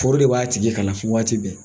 Foro de b'a tigi kalan waati bɛɛ.